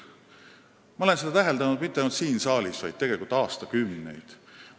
Ma olen üht täheldanud mitte ainult siin saalis, vaid tegelikult aastakümneid.